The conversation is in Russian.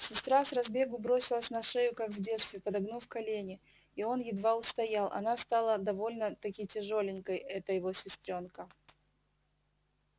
сестра с разбегу бросилась на шею как в детстве подогнув колени и он едва устоял она стала довольно-таки тяжёленькой эта его сестрёнка